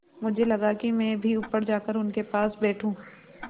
मुझे लगा कि मैं भी ऊपर जाकर उनके पास बैठूँ